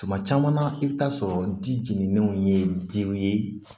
Tuma caman i bɛ taa sɔrɔ di jiginin ye diw ye